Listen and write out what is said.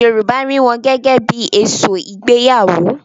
Yorùbá rí wọn gẹ́gẹ́ bí I èso ìgbéyàwó.